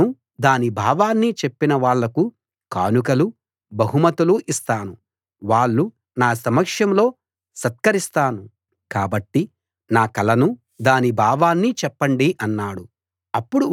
కలనూ దాని భావాన్నీ చెప్పిన వాళ్ళకు కానుకలు బహుమతులు ఇస్తాను వాళ్ళు నా సమక్షంలో సత్కరిస్తాను కాబట్టి నా కలను దాని భావాన్ని చెప్పండి అన్నాడు